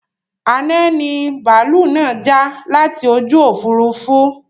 Àná ni bàálú náà já láti ojú Òfurufú